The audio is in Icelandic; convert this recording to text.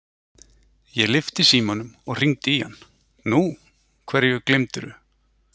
Ég lyfti símanum og hringdi í hann: Nú, hverju gleymdirðu?